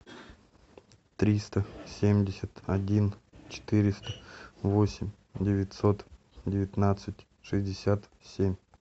триста семьдесят один четыреста восемь девятьсот девятнадцать шестьдесят семь